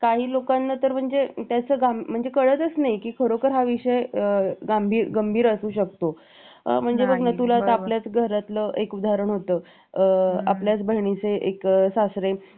काही लोकांना तर म्हणजे याचं गांभीर्य म्हणजे कळतच नाही की खरोखर हा विषय गंभीर असू शकतो आणि बघ ना आता तुला जर सांगायचं तर आपल्याच घरातलं एक उदाहरण होतं आपल्याच बहिणीचे एक सासरे